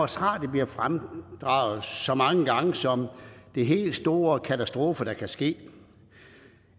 radio bliver fremdraget så mange gange som den helt store katastrofe